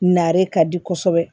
Nare ka di kosɛbɛ